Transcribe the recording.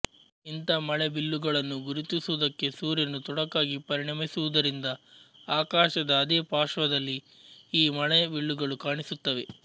ಇಂಥ ಮಳೆಬಿಲ್ಲುಗಳನ್ನು ಗುರುತಿಸುವುದಕ್ಕೆ ಸೂರ್ಯನು ತೊಡಕಾಗಿ ಪರಿಣಮಿಸುವುದರಿಂದ ಆಕಾಶದ ಅದೇ ಪಾರ್ಶ್ವದಲ್ಲಿ ಈ ಮಳೆಬಿಲ್ಲುಗಳು ಕಾಣಿಸುತ್ತವೆ